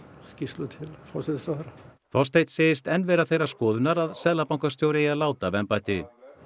skýrslu til forsætisráðherra Þorsteinn segist enn vera þeirrar skoðunar að seðlabankastjóri eigi að láta af embætti